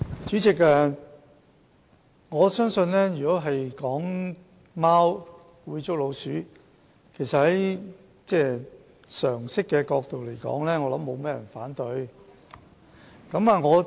主席，如果說貓會捉老鼠，從常識的角度來說不會有人反對。